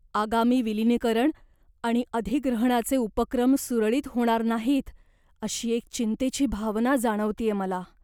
आगामी विलीनीकरण आणि अधिग्रहणाचे उपक्रम सुरळीत होणार नाहीत अशी एक चिंतेची भावना जाणवतेय मला.